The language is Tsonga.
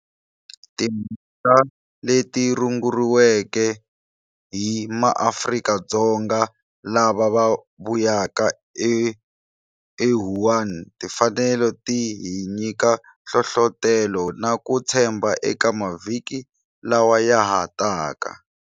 Timhaka leti runguriweke hi MaAfrika-Dzonga lava vuyaka eWuhan ti fanele ti hi nyika hlohlotelo na ku tshembha eka mavhiki lawa ya ha taka.